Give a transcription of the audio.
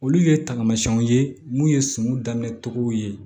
Olu ye tamasiyɛnw ye munnu ye suman daminɛ cogow ye